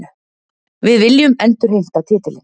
Við viljum endurheimta titilinn